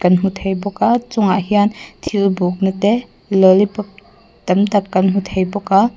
hmu thei bawk a chungah hian thil bukna te lollipop tam tak kan hmuh thei bawk a.